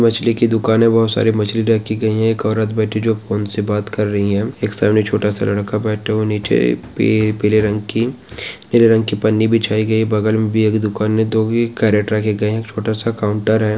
मछली की दुकान है बहुत सारी मछली रखी गयी है एक औरत बैठी है जो फ़ोन से बात कर रही है सामने एक सामने छोटा- सा लड़का बैठा हुआ है नीचे पी नीले रंग की पन्नी बिछाई गयी है बगल में भैया की दुकान है दो ही कैरेट रखे गए है छोटा- सा काउंटर हैं।